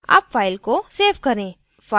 अब file को save करें